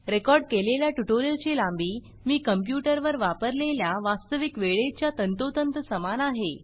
record केलेल्या tutorial ची लांबी मी कंप्यूटर वर वापरलेल्या वास्तविक वेळेच्या तंतोतंत समान आहे